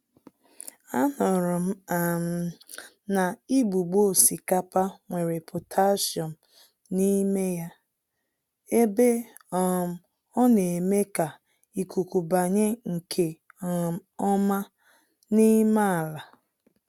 A nụrụm um na igbugbo osikapa nwere potassium n'ime ya, ebe um oneme ka ikuku banye nke um ọma n'ime àlà.